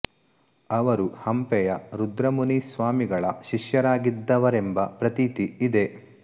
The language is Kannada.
ಅವರು ಹಂಪೆಯ ರುದ್ರಮುನಿ ಸ್ವಾಮಿ ಗಳ ಶಿಷ್ಯರಾಗಿದ್ದವರೆಂಬ ಪ್ರತೀತಿ ಇದೆ